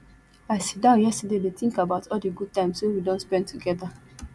i sit down yesterday dey think about all the good times we we don spend together